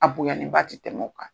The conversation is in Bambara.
A boyannen ba tɛ tɛmɛn o kan.